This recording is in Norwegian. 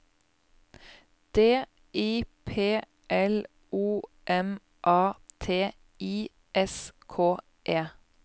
D I P L O M A T I S K E